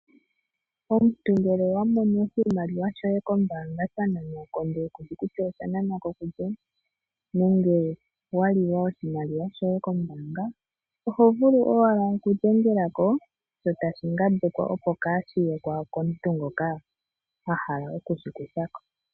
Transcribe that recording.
Omuntu ngele owa mono oshimaliwa shoye kombaanga sha nanwa ko, ndele ku shi kutya osha nanwa ko kulye nenge wa lilwa oshimaliwa shoye kombaanga oho vulu owala okudhengela ko sho tashi ngambekwa, opo kaashi ye ko komuntu ngoka a hala oku shi kutha ko.